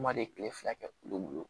Kuma de kile fila kɛ kulo mugan bolo